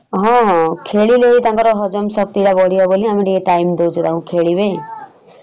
ହଁ ହଁ ଖେଳିଲେ ବି ତାଙ୍କର ହଜମ ଶକ୍ତି ଟା ବଢିବ ବୋଲି ଆମେ ଟିକେ time ଦଉଚୁ ତାଙ୍କୁ ଟିକେ ଖେଳିବେ ।